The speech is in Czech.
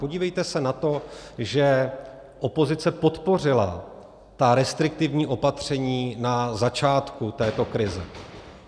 Podívejte se na to, že opozice podpořila ta restriktivní opatření na začátku této krize.